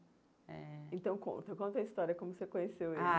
Eh então conta, conta a história, como você conheceu ele. Ah